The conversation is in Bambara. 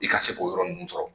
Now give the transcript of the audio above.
I ka se k' o yɔrɔ ninnu sɔrɔ.